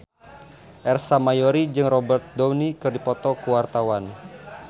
Ersa Mayori jeung Robert Downey keur dipoto ku wartawan